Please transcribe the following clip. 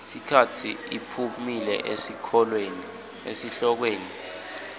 sikhatsi iphumile esihlokweni